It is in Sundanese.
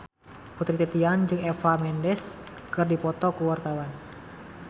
Putri Titian jeung Eva Mendes keur dipoto ku wartawan